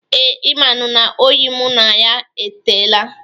Ee, ị manụ na oyi mụ na ya etela.